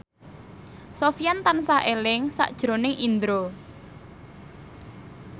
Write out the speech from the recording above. Sofyan tansah eling sakjroning Indro